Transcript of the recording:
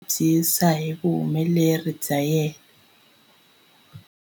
A nga twa a tinyungubyisa hi vuhumeleri bya yena.